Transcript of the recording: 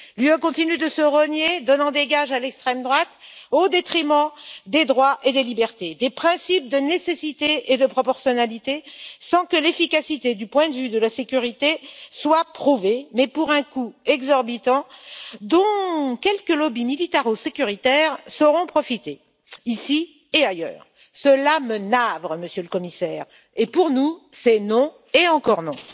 L'Union européenne continue de se renier, donnant des gages à l'extrême droite au détriment des droits et des libertés, des principes de nécessité et de proportionnalité, sans que l'efficacité du point de vue de la sécurité soit prouvée, mais pour un coût exorbitant dont quelques lobbies militaro-sécuritaires sauront profiter, ici et ailleurs. Cela me navre, Monsieur le Commissaire, et pour nous, c'est non et encore non.